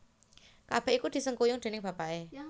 Kabèh iku disengkuyung déning bapaké